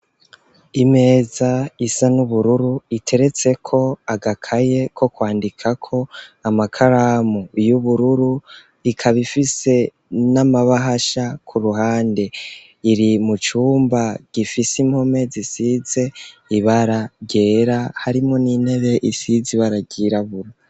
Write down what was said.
Imeza isa n'ubururu iteretseko agakaye ko kwandikako, amakaramu y'ubururu, ikaba ifise n'amabahasha ku ruhande. Iri mu cumba gifise impome zisize ibara ryera, harimwo n'intebe isize ibara ryirabura.